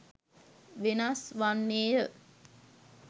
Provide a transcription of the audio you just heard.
වෙනස් වන්නේ ය.